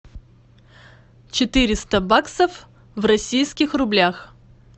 четыреста баксов в российских рублях